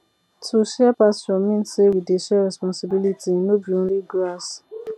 to share pasture mean say we dey share responsibility no be only grass